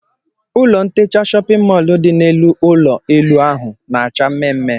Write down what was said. Ụlọ ntecha shóppin mol dị n'elu ụlọ elu ahụ na-acha mmemmé.